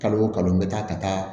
Kalo o kalo n bɛ taa ka taa